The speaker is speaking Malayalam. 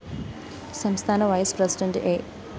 സംസ്ഥാന വൈസ്‌ പ്രസിഡണ്ട് എ